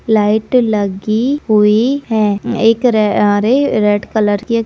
light लगी हुई है एक रे अरे रेड कलर की एक --